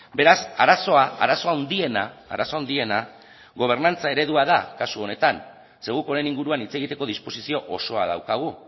beraz arazoa arazo handiena arazo handiena gobernantza eredua da kasu honetan ze guk honen inguruan hitz egiteko disposizio osoa daukagu